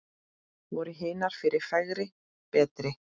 Voru hinar fyrri fegri, betri?